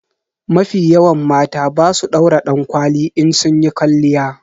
Mafi yawan mata ba su daura dankwali in sunyi kwalliya.